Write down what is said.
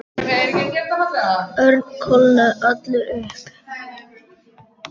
Örn kólnaði allur upp.